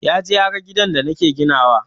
Yaje yaga gidan da nake ginawa.